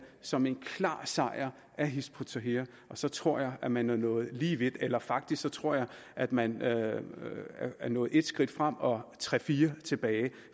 som en klar sejr af hizb ut tahrir så tror jeg at man er nået lige vidt eller faktisk tror jeg at man er nået et skridt frem og tre fire tilbage